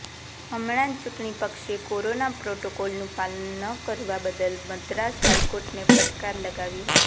હમણા જ ચૂંટણીપંચે કોરોના પ્રોટોકોલનું પાલન ન કરવા બદલ મદ્રાસ હાઇકોર્ટને ફટકાર લગાવી હતી